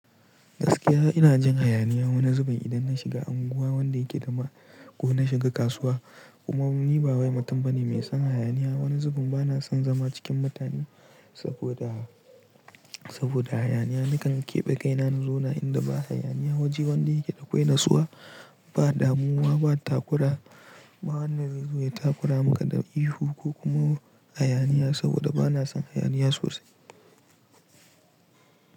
Gaskiya ina jin hayaniya wani zubin idan na shiga anguwa wanda yake dama ko na shiga kasuwa. Kuma ni ba wai mutum bane mai son hayaniya. Wani zubin bana son zama cikin mutane saboda, saboda hayaniya. Nakan keɓe kaina na zauna inda ba hayaniya waje wanda yake da akwai natsuwa, ba damuwa, ba takura. Ba wanda zai zo ya takura maka da ihu ko kuma hayaniya saboda bana son hayaniya sosai.